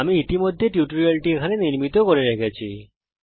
আমি ইতিমধ্যে এই টিউটোরিয়ালটি এখানে নির্মিত করে রেখেছি